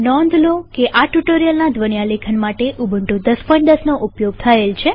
નોંધ લો કે આ ટ્યુ્ટોરીઅલના ધ્વન્યાલેખનરેકોર્ડીંગ માટે ઉબુન્ટુ ૧૦૧૦નો ઉપયોગ થયેલ છે